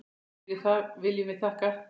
Fyrir það viljum við þakka.